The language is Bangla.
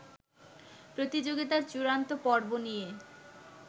প্রতিযোগিতার চূড়ান্ত পর্ব নিয়ে